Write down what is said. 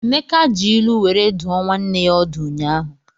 Emeka ji ilu were dụọ nwanne ya ọdụ ụnyaahụ.